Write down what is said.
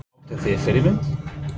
Áttu þér fyrirmyndir?